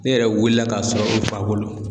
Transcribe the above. Ne yɛrɛ wulila k'a sɔrɔ n fa bolo.